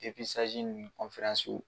ni w